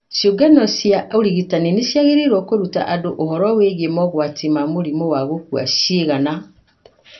Ciũngano cia ũrigitani nĩ ciagĩrĩirũo kũruta andũ ũhoro wĩgiĩ mogwati ma mũrimũ wa gũkua ciĩga na